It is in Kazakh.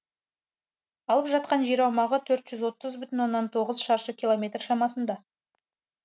алып жатқан жер аумағы төрт жүз отыз бүтін оннан тоғыз шаршы километр шамасында